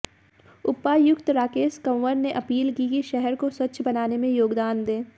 उपायुक्त राकेश कंवर ने अपील की कि शहर को स्वच्छ बनाने में योगदान दें